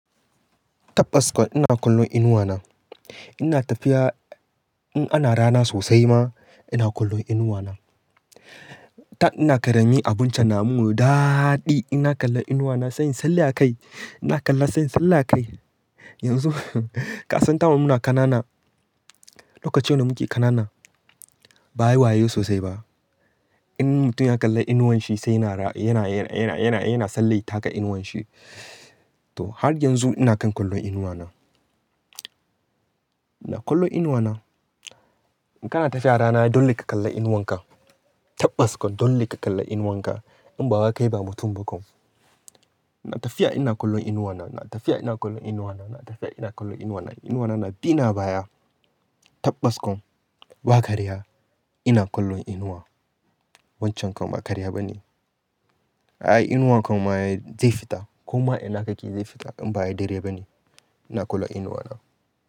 Tabbas kuwa, ina kallon inuwa na. Ina tafiya in ana rana sosai ma ina kallon inuwa na. Da ina karamin abincen namun daɗi ina kalla inuwa na sai in sallai a kai, ina kalla sai in sallai a kai. Yanzu kasan kamar muna kanana, lokacin da muke kanana ba'ayi wayo sosai ba. In mutum ya kalla inuwan shi sai yana, yana, yana, yana, yana sallai taka inuwan shi. To har yanzu ina kan kallon inuwa na. Ina kallon inuwa na. In kana tafiya rana dole ka kalla inuwan ka. Tabbas kon dole ka kalla inuwan ka in ba wa kai ba mutum ba kam. Ina tafiya ina kallon inuwa na, ina tafiya ina kallon inuwa na, ina tafiya ina kallon inuwa na. Inuwa na na bi ni a baya. Tabbas kun ba karya ina kallon inuwa. Wancan kam ƙarya bane. Ai, inuwan kama ai zai fita ko ma ina kake zai fita in ba ai dare bane. Ina kallon inuwa na.